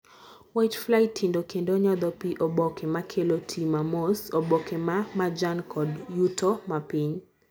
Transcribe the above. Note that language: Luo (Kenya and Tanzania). whitefly tindo kendo nyodho pii oboke makelo tii ma mos, oboke ma majan kod yuto mapiny